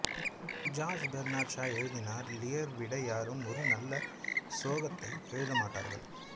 George Bernard Shaw எழுதினார் Lear விட யாரும் ஒரு நல்ல சோகத்தை எழுத மாட்டார்கள்